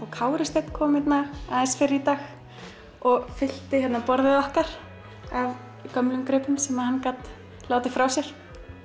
Kári Steinn hérna fyrr í dag og fyllti borðið okkar af gömlum gripum sem hann gat látið frá sér